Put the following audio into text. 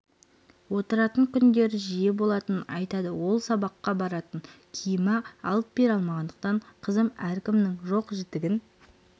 отыратын күндер жиі болатынын айтады ал сабаққа баратын киімін алып бере алмағандықтан қызым әркімнің жоқ-жітігін